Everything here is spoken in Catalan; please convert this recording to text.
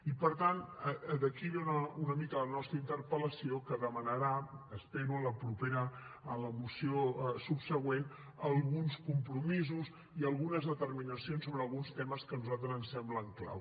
i per tant d’aquí ve una mica la nostra interpel·lació que demanarà espero en la moció subsegüent alguns compromisos i algunes determinacions sobre alguns temes que a nosaltres ens semblen clau